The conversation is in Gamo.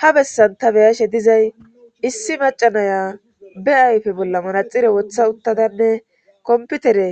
ha bessan ta beyashe dizay issi macanaya be ayfe bolla manaxire wotha uttadanne komputere